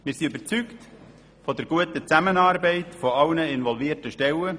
Wir sind überzeugt von der guten Zusammenarbeit aller involvierten Stellen.